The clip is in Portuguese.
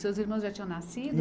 Seus irmãos já tinham nascido?